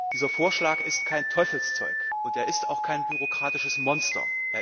Dieser Vorschlag ist kein Teufelszeug, und er ist auch kein bürokratisches Monster.